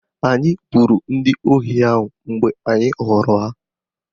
Anyị gbagburu ndị ohi ahụ mgbe anyị hụrụ ha